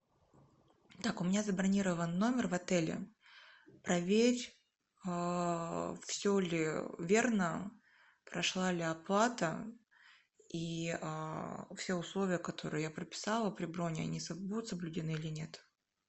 так у меня забронирован номер в отеле проверь все ли верно прошла ли оплата и все условия которые я прописала при брони они будут соблюдены или нет